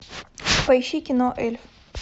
поищи кино эльф